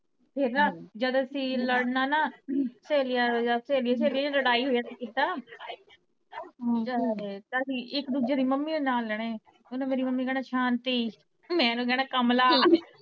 ਫਿਰ ਨਾ ਜਦ ਅਸੀਂ ਲੜਨਾ ਨਾ ਸੇਲੀਆਂ ਜਦ ਸੇਲੀਆਂ ਸੇਲੀਆਂ ਚ ਲੜਾਈ ਹੋ ਜਾਣੀ ਅਸੀਂ ਇਕ ਦੂਜੇ ਦੀ ਮੰਮੀਆਂ ਦੇ ਨਾਂ ਲੇਣੇ ਉਨੇ ਮੇਰੀ ਮੰਮੀ ਨੂੰ ਕਹਿਣਾ ਸ਼ਾਂਤੀ ਮੈਂ ਉਨੂੰ ਕਹਿਣਾ ਕਮਲਾ